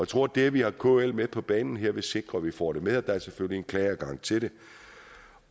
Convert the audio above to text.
tror at det at vi har kl med på banen her vil sikre at vi får det med og der er selvfølgelig en klageadgang til det